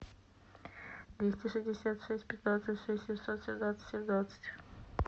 двести шестьдесят шесть пятнадцать шесть семьсот семнадцать семнадцать